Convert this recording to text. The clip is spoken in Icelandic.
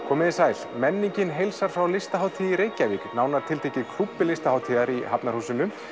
komiði sæl menningin heilsar ykkur frá Listahátíð í Reykjavík nánar tiltekið í klúbbi Listahátíðar í Hafnarhúsinu